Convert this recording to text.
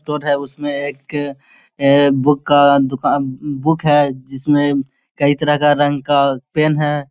Store है उसमे एक बुक का दूकान बुक है जिसमे कई तरह का रंग का पेन है ।